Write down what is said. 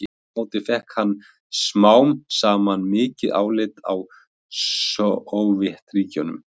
aftur á móti fékk hann smám saman mikið álit á sovétríkjunum